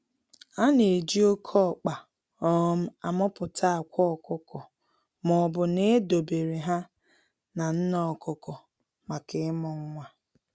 A na-eji oke ọkpa um a muputa akwa ọkụkọ maobu na edo bere ha na nne ọkụkọ maka ịmu nwa.